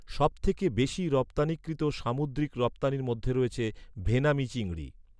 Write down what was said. সবথেকে বেশি রপ্তানিকৃত সামুদ্রিক রপ্তানির মধ্যে রয়েছে, ভেনামি চিংড়ি।